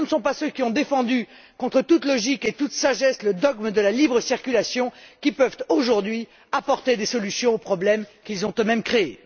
Ce ne sont pas ceux qui ont défendu, contre toute logique et toute sagesse, le dogme de la libre circulation qui peuvent, aujourd'hui, apporter des solutions aux problèmes qu'ils ont eux mêmes créés.